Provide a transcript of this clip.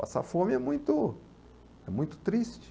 Passar fome é muito, é muito triste.